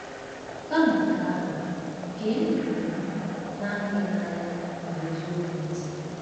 Kama nke ahụ, gee ndị um na-ahụ gị n’anya n’eziokwu ntị.